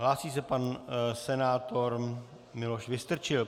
Hlásí se pan senátor Miloš Vystrčil.